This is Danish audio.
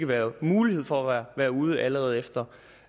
være mulighed for at man være ude allerede efter